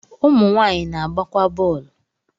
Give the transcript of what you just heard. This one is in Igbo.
ụmụ nwanyị na-agbakwa bọ̀ọ̀lu